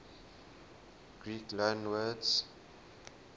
greek loanwords